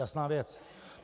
Jasná věc.